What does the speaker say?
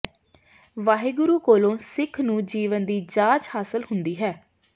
ਵਾਹਿਗੁਰੂ ਕੋਲੋਂ ਸਿਖ ਨੂੰ ਜੀਵਨ ਦੀ ਜਾਚ ਹਾਸਲ ਹੁੰਦੀ ਹੈ